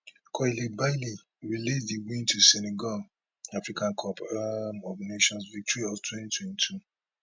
koulibaly relate di win to senegal africa cup um of nations victory of 2022